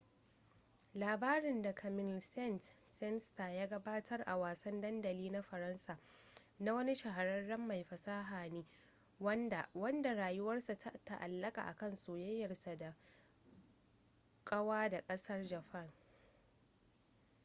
labarin da camille saint-saenstar ya gabatar a wasan dandamali na faransa, na wani shahararren mai fasaha ne wanda wanda rayuwarsa ta ta’allaka kan soyayyarsa da kwaya da kasar japan